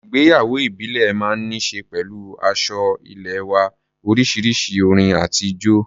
Ìgbéyàwó ìbílẹ̀ máa ń ní ṣe pẹ̀lú aṣọ ẹlẹ́wá̀ oríṣiríṣi, orin àti ijó.